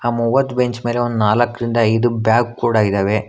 ಮೂವತ್ ಬೆಂಚ್ ಮೇಲೆ ಒಂದ್ ನಾಲ್ಕರಿಂದ ಐದು ಬ್ಯಾಗ್ ಕೂಡ ಇದಾವೆ.